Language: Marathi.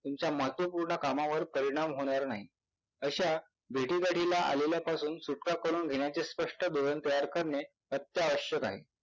तुमच्या महत्वपूर्ण कामावर परिणाम होणार नाही. अशा भेटीगढीला आलेल्यापासून सुटका करून घेण्याचे स्पष्ट धोरण तयार करणे अत्यावश्यक आहे.